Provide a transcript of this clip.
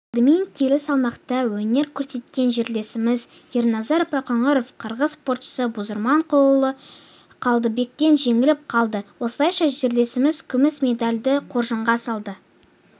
алдымен келі салмақта өнер көрсеткен жерлесіміз ерназар байқоңыров қырғыз спортшысы бузурманкулұлы қалыбектен жеңіліп қалды осылайша жерлесіміз күміс медальды қоржынға салды